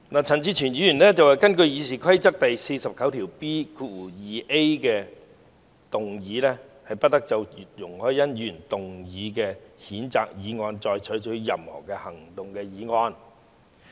陳志全議員根據《議事規則》第 49B 條動議"不得就容海恩議員提出的譴責議案再採取任何行動"的議案。